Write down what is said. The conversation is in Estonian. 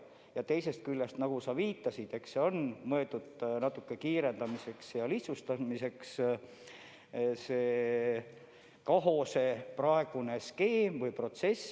Ja teisest küljest, nagu sa viitasid, eks praegune skeem ole mõeldud protsessi kiirendamiseks ja lihtsustamiseks.